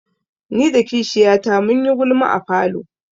Ni da kishiyata mun yi gulma a falo.